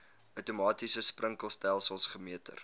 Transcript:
outomatiese sprinkelstelsels gemeter